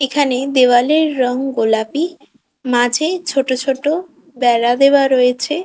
এখানে দেওয়ালের রং গোলাপি মাঝে ছোট ছোট বেড়া দেওয়া রয়েছে।